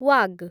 Waugh